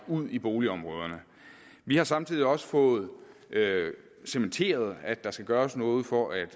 ud i boligområderne vi har samtidig også fået cementeret at der skal gøres noget for at